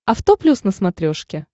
авто плюс на смотрешке